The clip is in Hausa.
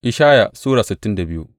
Ishaya Sura sittin da biyu